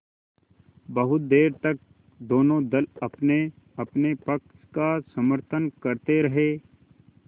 बहुत देर तक दोनों दल अपनेअपने पक्ष का समर्थन करते रहे